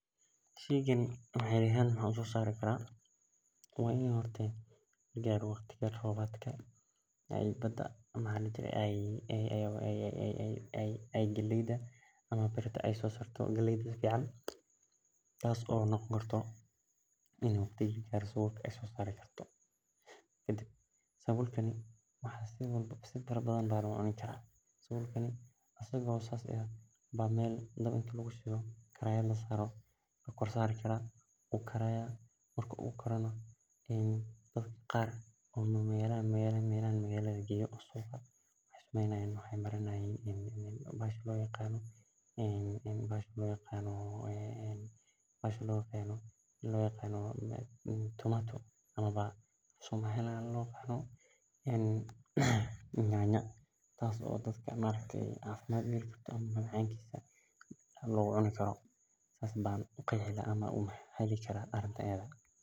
Shegani ani ahan mxaa uso sari karaa in ee tahay galeyda oo sosarto sabul dabilkani wax badan aya lo cuni kara isaga o san aya gadi kartaa dad qar nyanya aayey mari nayan dab aya ladhidi waa lasaraya sas ayan ku qeexi kara hoshan aad bena dadka ujecelyihin aniga said ayan u rawa hoshan.